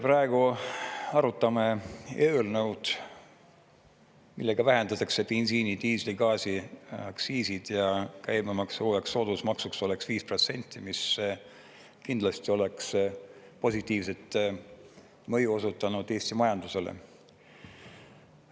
Praegu arutame eelnõu, millega vähendatakse bensiini-, diisli-, gaasiaktsiisi ja käibemaksu uueks soodusmaksuks oleks 5%, mis kindlasti oleks positiivset mõju osutanud Eesti majandusele.